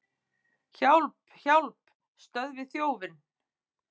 Hjálp, hjálp, stöðvið þjófinn!